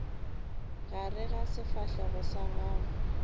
gare ga sefahlego sa gago